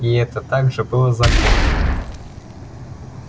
и это также было законом